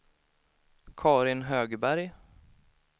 Carin Högberg